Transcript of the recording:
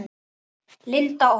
Linda Ósk.